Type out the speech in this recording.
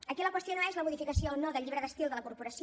aquí la qüestió no és la modificació o no del llibre d’estil de la corporació